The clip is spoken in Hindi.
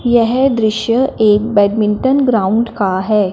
यह दृश्य एक बैडमिंटन ग्राउंड का है।